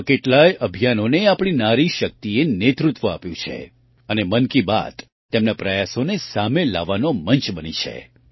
આવાં કેટલાંય અભિયાનોને આપણી નારીશક્તિએ નેતૃત્વ આપ્યું છે અને મન કી બાત તેમના પ્રયાસોને સામે લાવવાનો મંચ બની છે